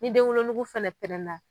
Ni den wolonugu fɛnɛ pɛrɛnna.